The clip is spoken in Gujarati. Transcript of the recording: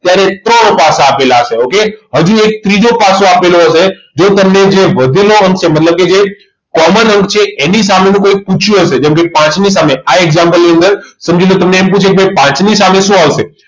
ત્યારે ત્રણ પાસા આપેલા હશે okay હજુ એક ત્રીજો પાસો આપેલ હશે જે તમને જે વધુમાં વચ્ચે મતલબ કે જે common અંક છે એની સામેનું કોઈ પૂછ્યું હશે જેમ કે પાંચ ની સામે આ example ની અંદર સમજી લો તમને એમ પૂછે કે ભાઈ પાંચ ની સામે શું આવશે